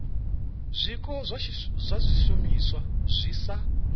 zwiko zwa zwishumiswa zwi sa